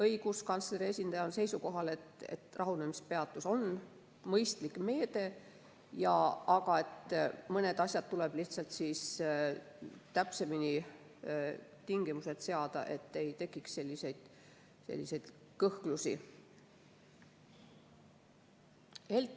Õiguskantsleri esindaja oli seisukohal, et rahunemispeatus on mõistlik meede, aga tuleb lihtsalt täpsemini tingimused seada, et ei tekiks selliseid kõhklusi.